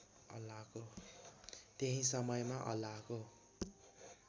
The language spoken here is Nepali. त्यही समयमा अल्लाहको